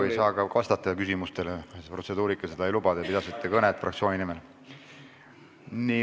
Te ei saagi praegu küsimustele vastata, sest protseduurika seda ei luba, te pidasite kõnet fraktsiooni nimel.